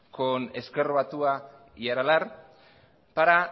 con ezker batua y aralar para